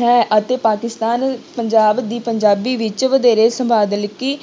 ਹੈ ਅਤੇ ਪਾਕਿਸਤਾਨ ਪੰਜਾਬ ਦੀ ਪੰਜਾਬੀ ਵਿੱਚ ਵਧੇਰੇ ਸ਼ਬਦਾਵਲੀ